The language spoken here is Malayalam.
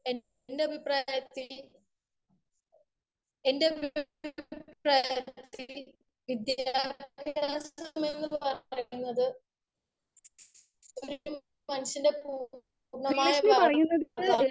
സ്പീക്കർ 1 എന്റെ അഭിപ്രായത്തിൽ പറയുന്നത്